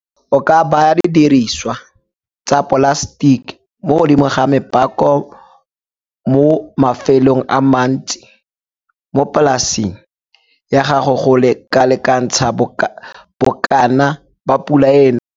O ka baya didiriswa tsa polasetiki mo godimo ga mepako mo mafelong a mantsi mo polaseng ya gago go lekalekantsha bokana ba pula e e nang.